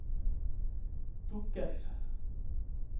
dukker